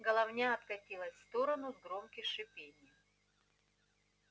головня откатилась в сторону с громким шипением